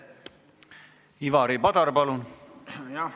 Ivari Padar, palun!